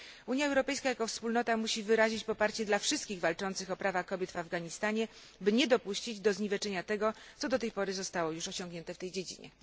Unia Europejska jako wspólnota musi wyrazić poparcie dla wszystkich walczących o prawa kobiet w Afganistanie, by nie dopuścić do zniweczenia tego, co do tej pory zostało już osiągnięte w tej dziedzinie.